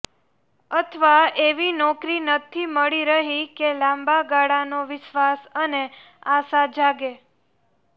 અથવા એવી નોકરી નથી મળી રહી કે લાંબા ગાળાનો વિશ્વાસ અને આશા જાગે